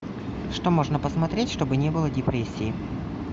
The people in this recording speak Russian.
что можно посмотреть чтобы не было депрессии